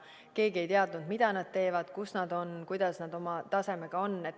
Keegi ei teadnud, mida nad teevad, kus nad on, kuidas nende tase on.